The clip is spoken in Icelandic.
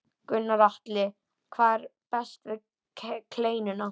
Gunnar Atli: Hvað er best við kleinuna?